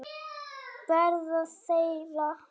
Verða þeirra.